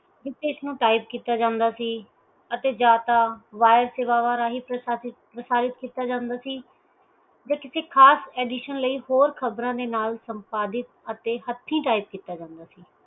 ਜਿਥੇ ਇਥੋਂ type ਕੀਤਾ ਜਾਂਦਾ ਸੀ ਅਤੇ ਜਾਂ ਤਾ ਅਵਾਜ ਪ੍ਰਸਾ ਪ੍ਰਸਾਰਿਤ ਕੀਤਾ ਜਾਂਦਾ ਸੀ ਵਿਚ ਤੁਸੀ ਖਾਸ addition ਲਈਂ ਹੋਰ ਖ਼ਬਰ ਦੇ ਨਾਲ ਸੰਪਾਦੀਦ ਅਤੇ ਹੱਥੀਂ type ਕੀਤਾ ਜਾਂਦਾ ਸੀ